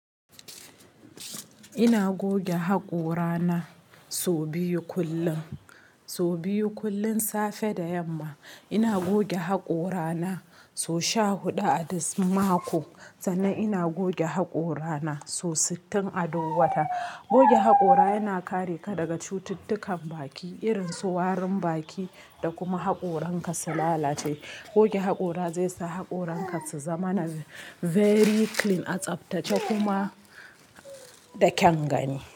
Ina goge haƙora na sau biyu kullum. Sau biyu kullum safe da yamma. Ina goge haƙora na sau sha huɗu a duk mako sannan ina goge haƙora na sau sittin a duk wata. Goge haƙora yana kare ka daga cututtukan baki irin su warin baki da kuma haƙoran ka su lalace. Goge haƙora zai sa haƙoran ka su zama na very clean, a tsaftace kuma da kyangani.